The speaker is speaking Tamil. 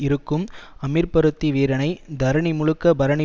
இருக்கும் அமீர்பருத்தி வீரனை தரணி முழுக்க பரணி